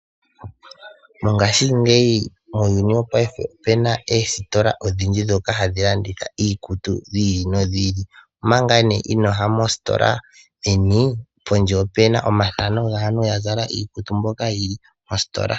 Mongashingeyi muuyuni wopaife omu na oositola odhindji ndhoka hadhi landitha iikutu yi ili noyi ili. Omanga inoo ya mositola meni, pondje opu na omathano gaantu ya zala iikutu mbyoka yi li mositola.